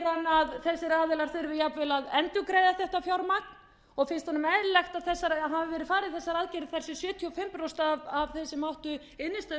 hann að þessir aðilar þurfi jafnvel að endurgreiða þetta fjármagn og finnst honum eðlilegt að farið hafi verið í þessar aðgerðir